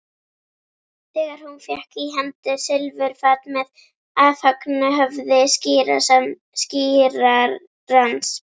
Þegar hún fékk í hendur silfurfat með afhöggnu höfði skírarans?